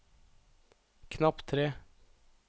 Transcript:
knapp tre